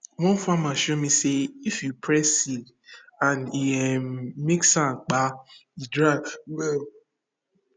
one farmer show me say if you press seed and e um make soundkpa e dry well